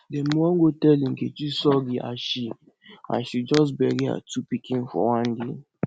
dem wan go tell nkechi sorry as she as she just bury her two pikin for one day